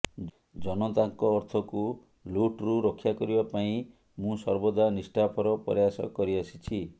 ଜନତାଙ୍କ ଅର୍ଥକୁ ଲୁଟ୍ରୁ ରକ୍ଷା କରିବା ପାଇଁ ମୁଁ ସର୍ବଦା ନିଷ୍ଠାପର ପ୍ରୟାସ କରିଆସିଛି